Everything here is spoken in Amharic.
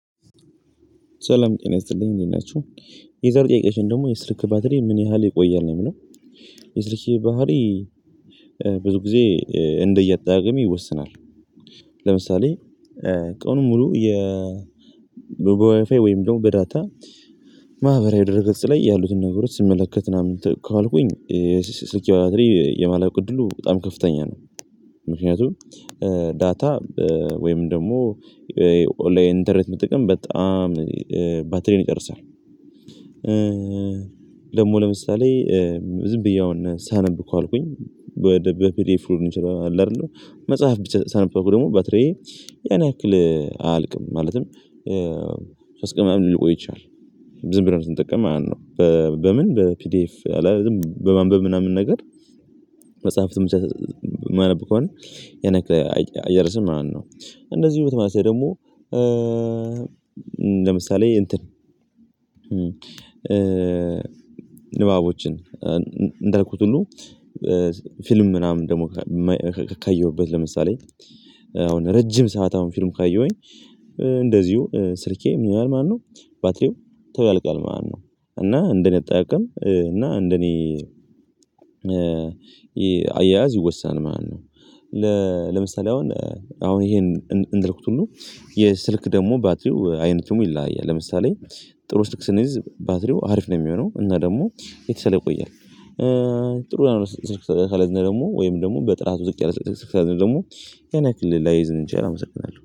ሰላም ጤና ይሰጥልኝ እንዴት ናችሁ የዛሬ ጥያቄያችን የስልክ ባትሪ ምን ያህል ይቆያል ነው የሚለው? የስልኬ ባትሪ ብዙ ጊዜ እንደ የአጠቃቀሜ ይወሰናል። ለምሳሌ ቀኑን ሙሉ የ በ ዋይፋይ ወይም ደግሞ በዳታ ማህበራዊ ድረ ገጽ ላይ ያሉትን ነገሮች ስመለከት ምና ምን ከዋልኩኝ ስልኬ ባትሪ የማለቅ እድሉ በጣም ከፍተኛ ነው። ምክንያቱም ዳታ ወይም ደግሞ ኦንላይን ኢንተርኔት ብጠቀም በጣም ባትሪዬን ይጨርሳል። ደግሞ ለምሳሌ ዝም ብዬ አሁን ሳነብ ከዋልኩኝ ወደ በፒዲኤፍ ሊሆን ይችላል አለ አይደለም መጽሐፍ ብቻ ሳነብበት ደግሞ ባትሪዬ ያን ያክል አያልቅም ማለትም ሶስት ቀን ምናምን ሊቆይ ይችላል። ዝም ብለን ስንጠቀም ማለት ነው። በምን በፒዲኤፍ አለ አይደል በማንበብ ምናምን ነገር መጽሐፍትም ብቻ ማነብ ከሆነ ያንያክል አይጨርስም ማለት ነው። እንደዚሁ በተመሳሳይ ደግሞ ለምሳሌ እንትን ንባቦችን እንዳልኩት ሁሉ ፊልም ምናምን ደግሞ ካየሁበት ለምሳሌ አሁን ረጅም ሰዓት አሁን ፊልም ካየሁኝ እንደዚሁ ስልኬ ምን ይላል ማነው ባትሪው ቶሎ ያልቃል ማለት ነው። እና እንደኔ አጠቃቀም እና እንደኔ አያያዝ ይወሰናል ማለት ነው። ለ ለምሳሌ አሁን አሁን ይሄን እንዳልኩት ሁሉ የስልክ ደግሞ ባትሪው አይነቱም ይለያያል ለምሳሌ ጥሩ ስልክ ስንይዝ ባትሪው አሪፍ ነው የሚሆነው እና ደግሞ የተሻለ ይቆያል። ጥሩ ያልሆነ ስልክ ካልያዝን ደግሞ ወይም ደግሞ በጥራት ዝቅ ያለ ስልክ ከያዝን ደግሞ የን ያክል ላይዝልን ይችላል አመሰግናለሁ